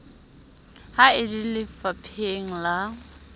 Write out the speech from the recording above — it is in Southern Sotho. ha e le lefapheng la